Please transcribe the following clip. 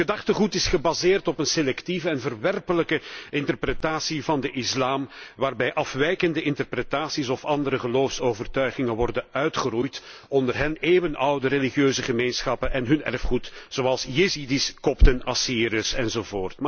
Hun gedachtengoed is gebaseerd op een selectieve en verwerpelijke interpretatie van de islam, waarbij afwijkende interpretaties of andere geloofsovertuigingen worden uitgeroeid, onder hen eeuwenoude religieuze gemeenschappen en hun erfgoed zoals Jezidi's, kopten, Assyriërs, enz.